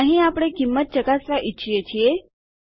અહીં આપણે કિંમત ચકાસવા ઈચ્છીએ છીએ